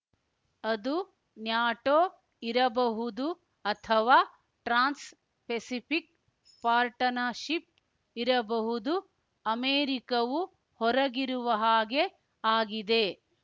ಅದು ನ್ಯಾಟೋ ಇರಬಹುದು ಅಥವಾ ಟ್ರಾನ್ಸ್‌ ಪೆಸಿಫಿಕ್‌ ಪಾರ್ಟನಶಿಪ್‌ ಇರಬಹುದು ಅಮೆರಿಕವು ಹೊರಗಿರುವ ಹಾಗೆ ಆಗಿದೆ